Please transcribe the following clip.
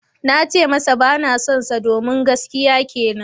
Na ce masa ba na sonsa domin gaskiya kenan.